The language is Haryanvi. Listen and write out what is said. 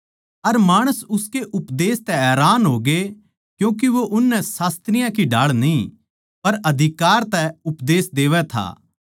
अर माणस उसके उपदेश तै हैरान होगे क्यूँके वो उननै शास्त्रियाँ की ढाळ न्ही पर अधिकार तै उपदेश देवै था